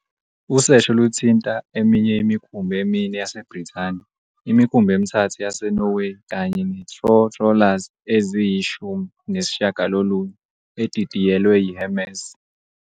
Usesho luthinta eminye imikhumbi emine yaseBrithani, imikhumbi emithathu yaseNorway kanye netrw trawlers eziyi-19, edidiyelwe "yiHermes".